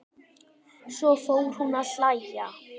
Svo fór hún að hlæja.